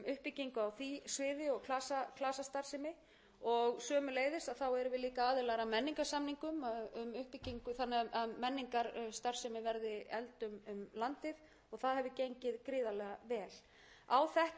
sömuleiðis erum við líka aðilar að menningarsamningum þannig að menningarstarfsemi verði efld um landið og það hefur gengið gríðarlega vel á þetta árum við að leggja áherslu